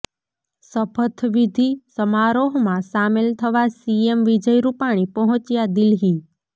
શપથવિધિ સમારોહમાં સામેલ થવા સીએમ વિજય રૂપાણી પહોંચ્યા દિલ્હી